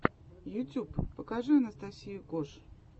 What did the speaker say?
ютьюб покажи анастасию кош